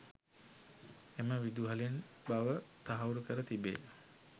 එම විදුහලෙන් බව තහවුරුකර තිබේ.